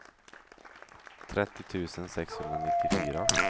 trettio tusen sexhundranittiofyra